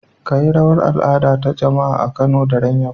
Kayi rawar al'ada ta jama'a a Kano a daren yau